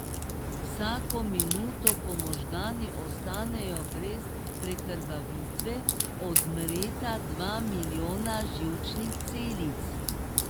Vsako minuto, ko možgani ostanejo brez prekrvavitve, odmreta dva milijona živčnih celic.